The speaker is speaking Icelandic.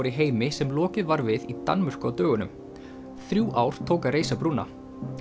í heimi sem lokið var við í Danmörku á dögunum þrjú ár tók að reisa brúna